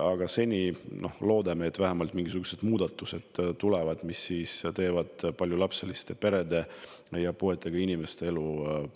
Aga seni loodame, et vähemalt mingisugused muudatused tulevad, mis paljulapseliste perede ja puuetega inimeste elu